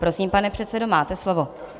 Prosím, pane předsedo, máte slovo.